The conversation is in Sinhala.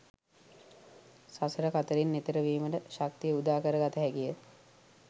සසර කතරින් එතෙර වීමට ශක්තිය උදා කර ගත හැකිය.